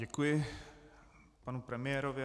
Děkuji panu premiérovi.